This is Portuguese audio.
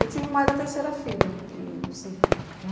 Eu tive mais da terceira filha. E assim